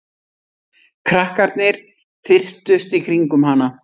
Krakkarnir þyrptust í kringum hana.